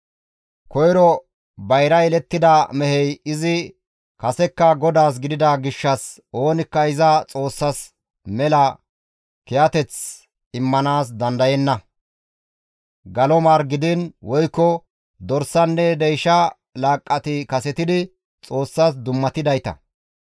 « ‹Koyro bayra yelettida mehey izi kasekka GODAAS gidida gishshas oonikka iza Xoossas mela kiyateth immanaas dandayenna; galo mar gidiin woykko dorsanne deysha laaqqati kasetidi Xoossas dummatidayta.